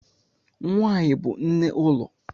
Nwanyi bu nne ulo.